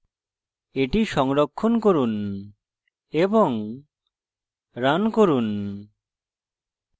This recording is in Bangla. এটি সংরক্ষণ করুন এবং রান করুন